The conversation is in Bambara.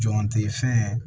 Jɔn tɛ fɛn